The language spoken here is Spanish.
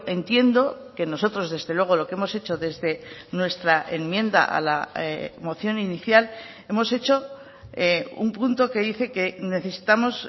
entiendo que nosotros desde luego lo que hemos hecho desde nuestra enmienda a la moción inicial hemos hecho un punto que dice que necesitamos